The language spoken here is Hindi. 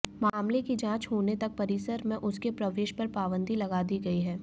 मामले की जांच होने तक परिसर में उसके प्रवेश पर पाबंदी लगा दी गयी है